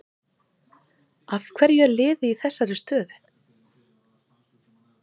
Af hverju er liðið í þessari stöðu?